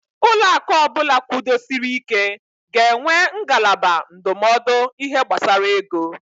Ụlọaku ọbụla kwudosiri ị́ké ga-enwe ngalaba ndụmọdụ ihe gbasara ego.